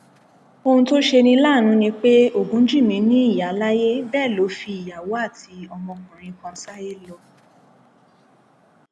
ohun tó ṣe ní láàánú ni pé ogunjìnmi ni ìyá láyé bẹẹ ló fi ìyàwó àti ọmọkùnrin kan sáyé lọ